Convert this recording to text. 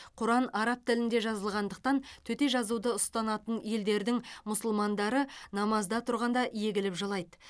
құран араб тілінде жазылғандықтан төте жазуды ұстанатын елдердің мұсылмандары намазда тұрғанда егіліп жылайды